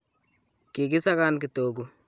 kiki sakan kitogu